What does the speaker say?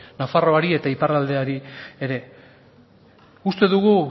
nafarroari eta iparraldeari ere uste dugu